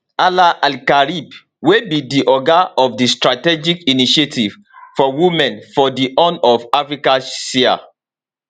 hala alkarib wey be di oga of di strategic initiative for women for di horn of africa siha